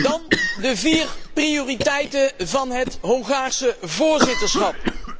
Dan de vier prioriteiten van het Hongaarse voorzitterschap.